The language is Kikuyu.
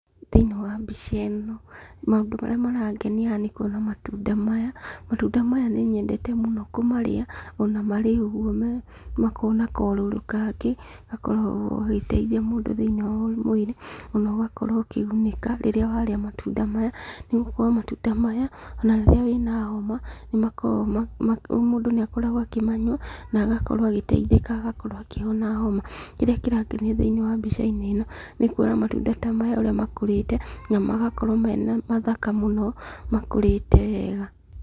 Thĩniĩ wa mbica ĩno, maũndũ marĩa marangenia haha nĩ kuona matuda maya. Matunda maya nĩnyendete mũno kũmarĩa, ona marĩ ũguo makoragwo na kaũrũrũ kangĩ, gakoragwo gagĩteithia mũndũ thĩiniĩ wa mwĩrĩ, ona ũgakorwo ũkĩgunĩka rĩrĩa warĩa matunda maya. Nĩgokorwo matunda maya, ona rĩrĩa wĩna homa, nĩ makoragwo mũndũ nĩ akoragwo akĩmanyua, na agakorwo agĩteithĩka agakorwo akĩhona homa. Kĩrĩa kĩrangenia thĩiniĩ wa mbica-inĩ ĩno, nĩ kuona matunda ta maya ũrĩa makũrĩte, na magakorwo mena mathaka mũno makũrĩte wega.